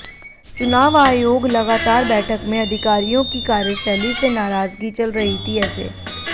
चुनाव आयोग लगातार बैठक में अधिकारियों की कार्यशैली से नाराजगी चल रही थी ऐसे